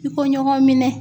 I ko ɲɔgɔn minɛ